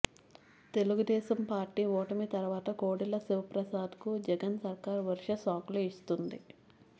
Telugu Desam party ఓటమి తర్వాత కోడెల శివప్రసాద్ కు జగన్ సర్కార్ వరుస షాక్ లు ఇస్తుంది